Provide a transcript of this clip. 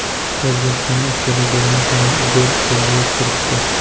O‘zbekistonning ikkala golini ham Igor Sergeyev kiritdi.